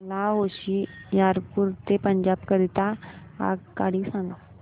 मला होशियारपुर ते पंजाब करीता आगगाडी सांगा